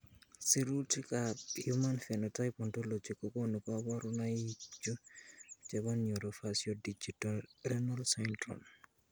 Sirutikab Human Phenotype Ontology kokonu koborunoikchu chebo Neurofaciodigitorenal syndrome.